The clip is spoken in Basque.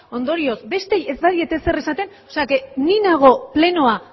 ondorioz besteei ez badiet ezer esaten o sea que ni nago plenoa